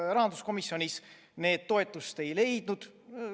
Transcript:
Rahanduskomisjonis need toetust ei leidnud.